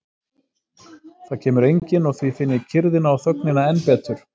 Það kemur enginn og því finn ég kyrrðina og þögnina enn betur.